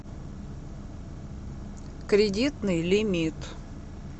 кредитный лимит